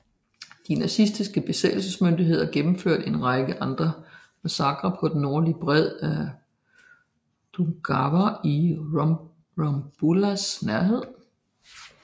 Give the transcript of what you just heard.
De nazistiske besættelsesmyndigheder gennemførte en række andre massakrer på den nordlige bred af Daugava i Rumbulas nærhed